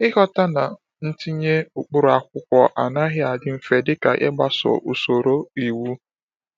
Ịghọta na itinye ụkpụrụ akwụkwọ anaghị adị mfe dị ka ịgbaso usoro iwu.